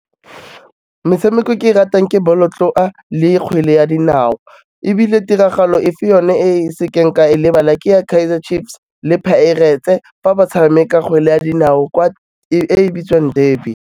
Metshameko e ke ratang ke bolotloa, le kgwele ya dinao, ebile tiragalo e fe yone e e sekeng ka e lebala ke ya Kaizer Chiefs le Pirates-e fa ba tshameka kgwele ya dinao e e bitswang derby.